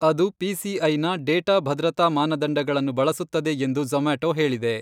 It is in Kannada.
ಅದು ಪಿಸಿಐನ ಡೇಟಾ ಭದ್ರತಾ ಮಾನದಂಡಗಳನ್ನು ಬಳಸುತ್ತದೆ ಎಂದು ಝೊಮಾಟೊ ಹೇಳಿದೆ.